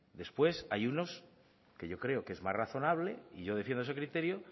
después hay unos que yo creo que es más razonable y yo defiendo ese criterio